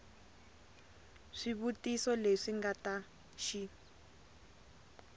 swivutiso leswi nga ta xi